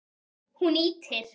Hún ýtir